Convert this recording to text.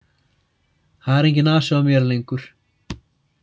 Það er enginn asi á mér lengur.